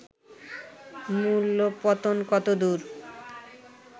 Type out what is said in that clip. মূল্য-পতন কতদূর